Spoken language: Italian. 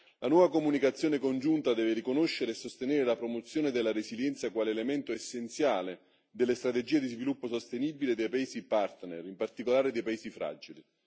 La nuova comunicazione congiunta deve riconoscere e sostenere la promozione della resilienza, quale elemento essenziale delle strategie di sviluppo sostenibile dei paesi partner, in particolare dei paesi fragili.